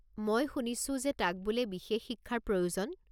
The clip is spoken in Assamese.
মই শুনিছো যে তাক বোলে বিশেষ শিক্ষাৰ প্ৰয়োজন।